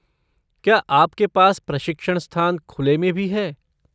क्या आपके पास प्रशिक्षण स्थान खुले में भी है?